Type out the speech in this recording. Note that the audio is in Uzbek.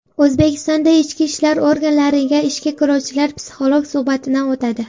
O‘zbekistonda ichki ishlar organlariga ishga kiruvchilar psixolog suhbatidan o‘tadi.